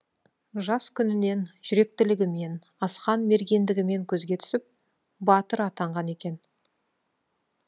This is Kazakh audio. жас күнінен жүректілігімен асқан мергендігімен көзге түсіп батыр атанған екен